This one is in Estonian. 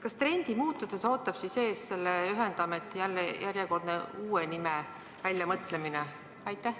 Kas trendi muutudes ootab meid ees selle ühendameti uue nime väljamõtlemine?